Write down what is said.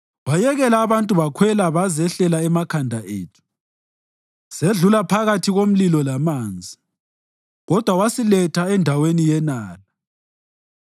Wayekela abantu bakhwela bazehlela emakhanda ethu; sedlula phakathi komlilo lamanzi, kodwa wasiletha endaweni yenala.